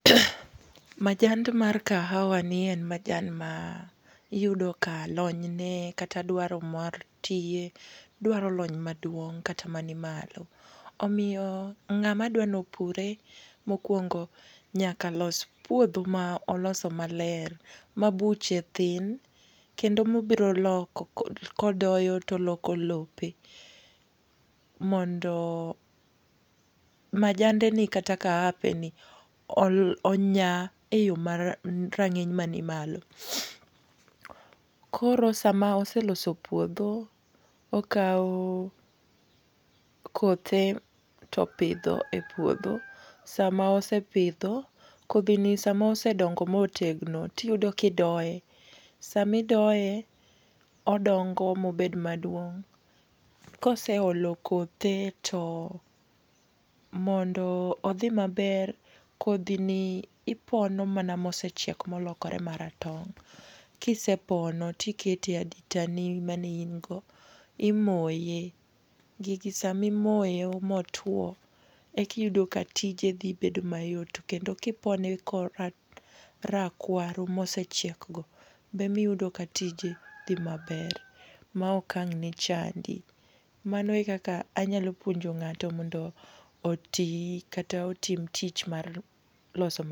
Majand mar kahawa ni en majan ma iyudo ka lony ne kata dwaro mar tiye, dwaro lony maduong' kata manimalo. Omiyo ng'ama dwani opure mokwongo nyaka los puodho ma oloso maler. Mabuche thin, kendo mobiro loko kod kodoyo to oloko lope. Mondo majande ni kata kahape ni onya e yo mar rang'iny manimalo. Koro sama oseloso puodho, okaw kothe to opidho e puodho, sama osepidho, kodhi ni sama osedongo motegno tiyudo kidoye. Samidoye odongo mobed maduong', kose olo kothe to, mondo odhi maber, kodhi ni ipono mana mosechiek molokore maratong'. Kisepono tiketi e adita ni mane in go, imoye. Gigi sama imoyo motwo ekiyudo katije dhi bed mayot. Kendo kipone korakwaro mosechiekgo be emi yudo katije dhi maber, maokang' ni chandi. Mano ekaka anyalo puonjo ng'ato mondo oti kata otim tich mar loso.